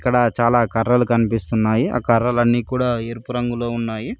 ఇక్కడ చాలా కర్రలు కనిపిస్తున్నాయి ఆ కర్రలు అన్ని కూడా ఎరుపు రంగులో ఉన్నాయి.